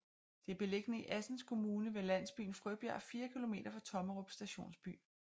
Det er beliggende i Assens Kommune ved landsbyen Frøbjerg 4 kilometer fra Tommerup Stationsby